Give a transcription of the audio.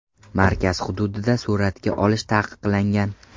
Markaz hududida suratga olish taqiqlangan.